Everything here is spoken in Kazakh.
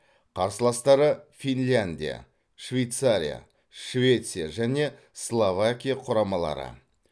қарсыластары финляндия швейцария швеция және словакия құрамалары